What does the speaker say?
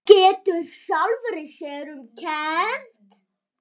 Getur sjálfri sér um kennt.